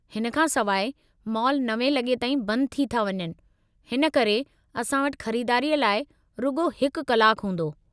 हिन खां सवाइ, मॉल 9:00 लॻे ताईं बंदि थी था वञनि हिन करे असां वटि ख़रीदारीअ लाइ रुॻो हिकु कलाकु हूंदो।